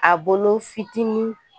A bolo fitinin